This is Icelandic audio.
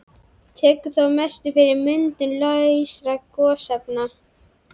Tekur þá að mestu fyrir myndun lausra gosefna.